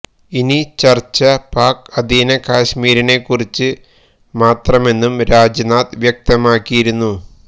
ഇനി ചർച്ച പാക് അധീന കശ്മീരിനെക്കുറിച്ച് മാത്രമെന്നും രാജ്നാഥ് വ്യക്തമാക്കിയിരുന്നു